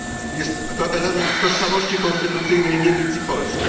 Jest to element tożsamości konstytucyjnej Niemiec i Polski.